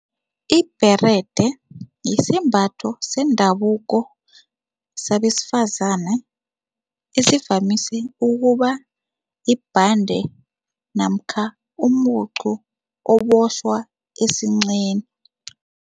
Ibherede yisembatho sendabuko sabesifazana esivamise ukuba yibhande namkha umucu obotjhwa esinqeni.